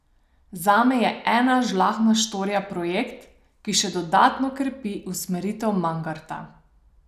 Zame je Ena žlahtna štorija projekt, ki še dodatno krepi usmeritev Mangarta.